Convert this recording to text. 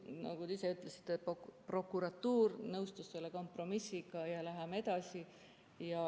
Nagu te ise ütlesite, siis prokuratuur nõustus selle kompromissiga ja läheme edasi.